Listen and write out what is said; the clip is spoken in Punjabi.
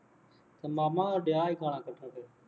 ਅਤੇ ਮਾਮਾ ਡਿਆ